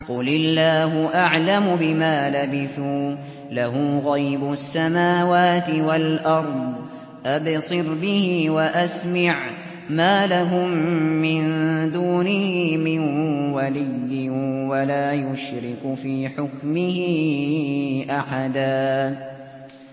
قُلِ اللَّهُ أَعْلَمُ بِمَا لَبِثُوا ۖ لَهُ غَيْبُ السَّمَاوَاتِ وَالْأَرْضِ ۖ أَبْصِرْ بِهِ وَأَسْمِعْ ۚ مَا لَهُم مِّن دُونِهِ مِن وَلِيٍّ وَلَا يُشْرِكُ فِي حُكْمِهِ أَحَدًا